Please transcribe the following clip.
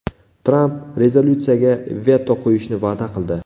Tramp rezolyutsiyaga veto qo‘yishni va’da qildi.